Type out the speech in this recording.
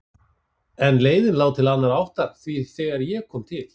En leiðin lá til annarrar áttar því þegar ég kom til